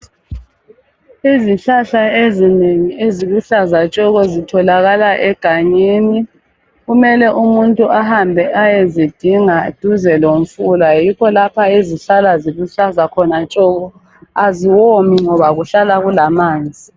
Izihlahla ezinengi eziluhlaza tshoko! Zitholakala egangeni kumele umuntu ahambe ayezidinga duze lomfula yikho lapho ezihlala ziluhlaza khona tshoko! Aziwomi ngoba kuhlala kulamanzi.